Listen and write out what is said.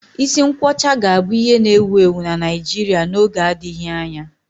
Isi nkwọcha ga-abụ ihe na-ewu ewu na Naịjirịa n'oge adịghị anya